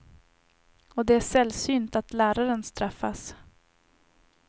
Och det är sällsynt att läraren straffas.